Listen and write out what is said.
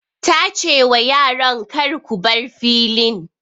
Ta ce wa yaran 'Kar ku bar filin'!